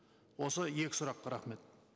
осы екі сұрақ рахмет